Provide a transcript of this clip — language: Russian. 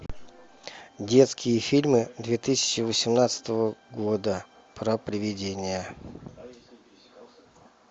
детские фильмы две тысячи восемнадцатого года про привидения